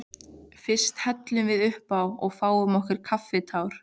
Fyrst hellum við uppá og fáum okkur kaffitár.